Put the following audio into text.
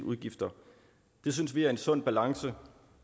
udgifter det synes vi er en sund balance